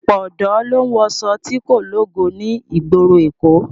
Ọ̀pọ̀ ọ̀dọ́ ló ń wọṣọ tí kò lógo ní ìgboro èkó